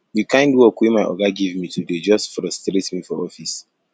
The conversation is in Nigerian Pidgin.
di kind work wey my oga give me today just frustrate me for office